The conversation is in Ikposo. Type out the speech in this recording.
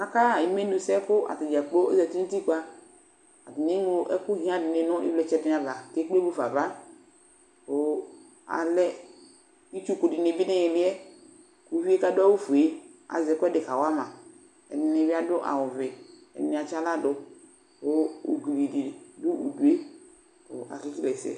Akaɣa imenu sɛ katadzakplo zati nutikpaAtani eɣlo ɛkʋ hiã dini dʋnʋ ivlitsɛava, kekple mufava Kʋ alɛ itsuku dini bi niiliɛKuvie kadʋ awu fue azɛ ɛkuɛdi kawama